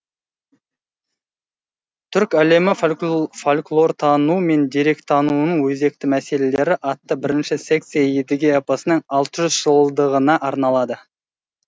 түрк әлемі фольклортануы мен деректенуының өзекті мәселелері атты бірінші секция едіге эпосының алты жүз жылдығына арналды